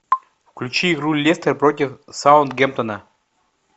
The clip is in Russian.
включи игру лестер против саутгемптона